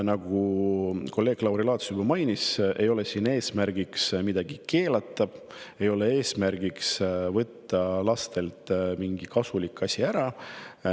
Nagu kolleeg Lauri Laats juba mainis, ei ole eesmärgiks midagi keelata, ei ole eesmärgiks võtta lastelt mingi kasulik asi ära.